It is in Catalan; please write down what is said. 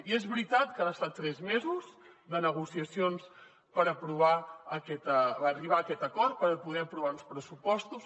i és veritat que han estat tres mesos de negociacions per arribar a aquest acord per poder aprovar uns pressupostos